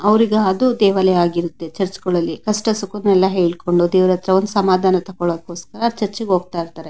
ಅವರಿಗೆ ಅದು ದೇವಾಲಯ ಆಗಿರುತ್ತೆ ಚರ್ಚ್ ಗಲ್ಲಲ್ಲಿ ಕಷ್ಟ ಸುಖ ದುಃಖ್ಖ ಹೇಳ್ಕೊಂಡು ದೇವರತ್ರ ಹೋಗಿ ಸಮಾಧಾನ ತಗೋಳ್ಕೋಸ್ಕರ ಚುರ್ಚ್ಗೆ ಹೋಗ್ತಾಯಿರ್ತಾರೆ.